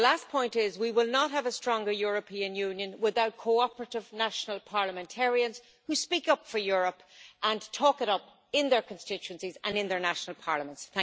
The last point is, we will not have a stronger European Union without cooperative national parliamentarians who speak up for Europe and talk it up in their constituencies and in their national parliaments.